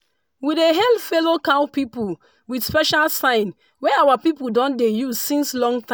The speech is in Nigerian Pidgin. we dey hail fellow cow people with special sign wey our people don dey use since long time.